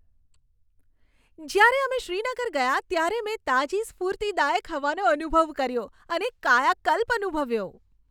જ્યારે અમે શ્રીનગર ગયા ત્યારે મેં તાજી સ્ફૂર્તિદાયક હવાનો અનુભવ કર્યો અને કાયાકલ્પ અનુભવ્યો.